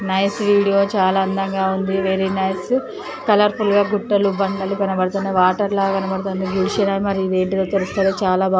Nice video . చాలా అందంగా ఉంది. Very nice . కలర్ ఫుల్ గా గుట్టలు బండలు కనబడుతున్న వాటర్ లాగా కనపడుతుంది. ఇవేంటో తెలుస్తలేదు చాలా బాగుం--